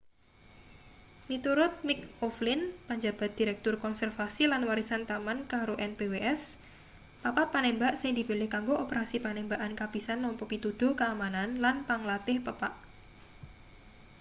miturut mick o'flynn panjabat direktur konservasi lan warisan taman karo npws papat panembak sing dipilih kanggo operasi panembakan kapisan nampa pituduh keamanan lan panglantih pepak